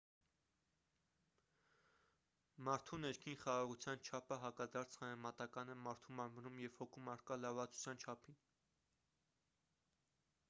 մարդու ներքին խաղաղության չափը հակադարձ համեմատական է մարդու մարմնում և հոգում առկա լարվածության չափին